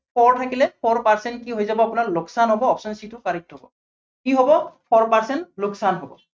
four থাকিলে four percent কৈ হৈ যাব আপোনাৰ লোকচান হব, option c টো correct হব। কি হব four percent লোকচান হব।